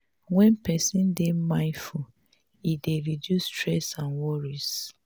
when person dey mindful e dey reduce stress and worries